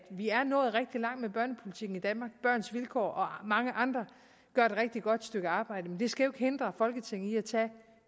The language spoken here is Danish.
vi er nået rigtig langt med børnepolitikken i danmark børns vilkår og mange andre gør et rigtig godt stykke arbejde men det skal hindre folketinget i at tage